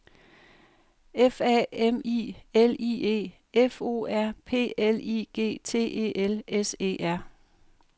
F A M I L I E F O R P L I G T E L S E R